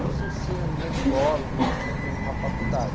Não se ensina numa escola, não se ensina numa faculdade.